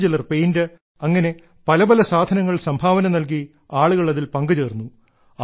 മറ്റുചിലർ paint അങ്ങനെ പല പല സാധനങ്ങൾ സംഭാവന നൽകി ആളുകൾ അതിൽ പങ്കുചേർന്നു